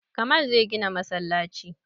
Kamal zai gina masallaci